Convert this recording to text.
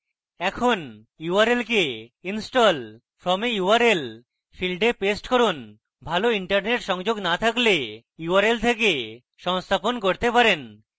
এখন url কে install from a url field a paste করুন ভালো internet সংযোগ now থাকলে আপনি url থেকে সংস্থাপন করতে পারেন